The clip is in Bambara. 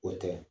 O tɛ